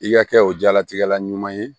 I ka kɛ o jalatigɛla ɲuman ye